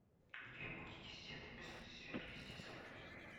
у тебя будет десятый эпизод сверхъестественное